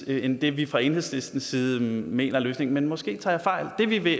end det vi fra enhedslistens side mener er løsningen men måske tager jeg fejl det vi i